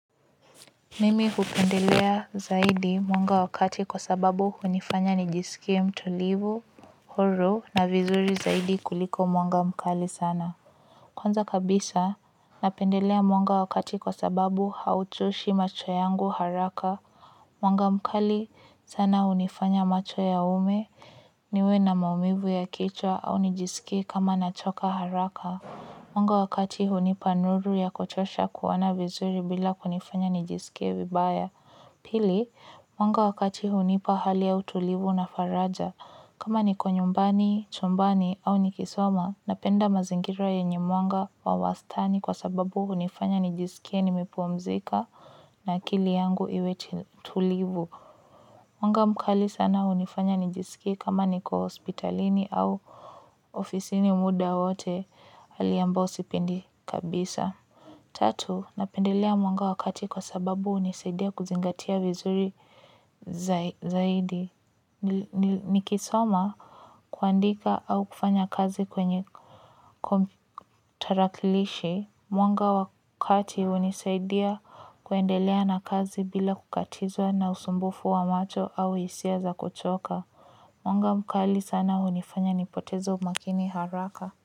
Mimi hupendelea zaidi mwanga wa kati kwa sababu hunifanya nijisikie mtulivu, huru na vizuri zaidi kuliko mwanga mkali sana. Kwanza kabisa napendelea mwanga wa kati kwa sababu hauchoshi macho yangu haraka mwanga mkali sana hunifanya macho yaume, niwe na maumivu ya kichwa au nijisikie kama nachoka haraka. Mwanga wa kati hunipa nuru ya kutosha kuoana vizuri bila kunifanya nijisikie vibaya. Pili, mwanga wa kati hunipa hali ya utulivu na faraja. Kama niko nyumbani, chumbani au nikisoma, napenda mazingira yenye mwanga wa wastani kwa sababu hunifanya nijisikie nimepumzika na akili yangu iwe tulivu. Mwanga mkali sana unifanya nijisiki kama niko hospitalini au ofisini muda wote aliyambayo hali ambayo sipendi kabisa. Tatu, napendelea mwanga wa kati kwa sababu unisaidia kuzingatia vizuri zaidi. Nikisoma, kuandika au kufanya kazi kwenye tarakilishi, mwanga wa kati unisaidia kuendelea na kazi bila kukatizwa na usumbufu wa macho au hisia za kuchoka. Mwanga mkali sana unifanya nipotezo makini haraka.